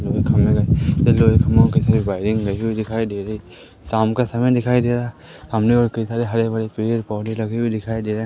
लोहे के खंभे ल लोहे के खंभों की सारी वायरिंग लगी हुई दिखाई दे रही है शाम का समय दिखाई दे रहा है सामने और कई सारे हरे भरे पेड़ पौधे लगे हुए दिखाई दे रहे--